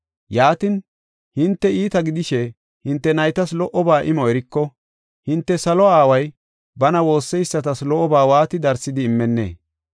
Yaatin hinte iita gidishe hinte naytas lo77oba imo eriko, hinte salo aaway bana woosseysatas lo77oba waati darsidi immenee?